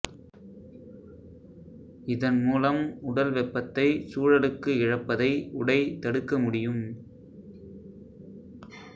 இதன்மூலம் உடல் வெப்பத்தைச் சூழலுக்கு இழப்பதை உடை தடுக்க முடியும்